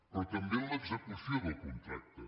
però també en l’execució del contracte